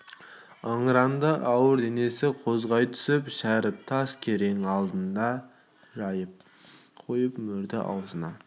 ыңыранды ауыр денесін қозғай түсіп шәріп тас керең алдына жайып қойып мөрді ауызына